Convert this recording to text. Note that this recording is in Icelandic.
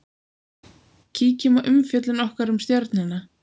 Kíkjum á umfjöllun okkar um Stjörnuna.